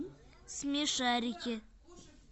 смешарики